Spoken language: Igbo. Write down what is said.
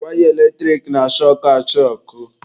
Waya eletrik na-ashọkụ achọkụ.